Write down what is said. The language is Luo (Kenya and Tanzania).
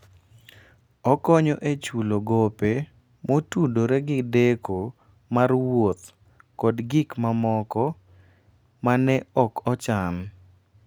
Okonyo e chulo gope motudore gi deko mar wuoth kod gik mamoko ma ne ok ochan.